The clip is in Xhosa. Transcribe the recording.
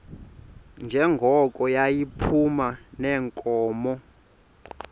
njengoko yayiphuma neenkomo